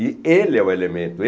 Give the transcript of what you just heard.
E ele é o elemento.